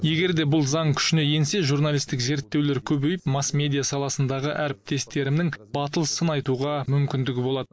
егер де бұл заң күшіне енсе журналистік зерттеулер көбейіп масс медиа саласындағы әріптестерімнің батыл сын айтуға мүмкіндігі болады